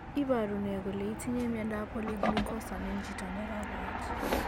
Iporu ne kole itinye miondap Polyglucosan en chito ne ka koyet.